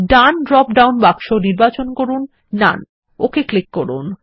ডান drop down বাক্স নির্বাচন করুন নোন ওকে ক্লিক করুন